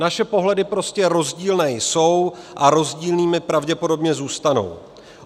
Naše pohledy prostě rozdílné jsou a rozdílnými pravděpodobně zůstanou.